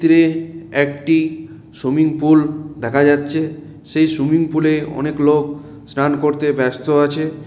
তীরে একটি swimming pool দেখা যাচ্ছে। সেই সুইমিং পুলে অনেক লোক স্নান করতে ব্যস্ত আছে।